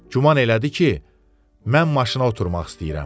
Güman elədi ki, mən maşına oturmaq istəyirəm.